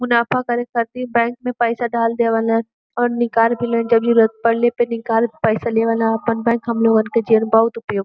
मुनाफा करे खातिर बैंक में पैसा डाल देवलन और निकाल भी ले न जरुरत परले पे निकाल पैसा लेवला आपन बैंक हमलोगन के जेन बहुत उपुक्त --